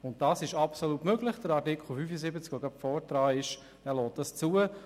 Das ist absolut möglich, Artikel 75 lässt das zu.